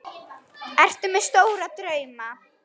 Ertu með stóra drauma?